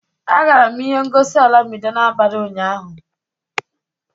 Agara m ihe ngosi olamide n'abalị ụnyahụ